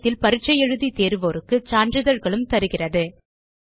இணையத்தில் பரிட்சை எழுதி தேர்வோருக்கு சான்றிதழ்களும் தருகிறது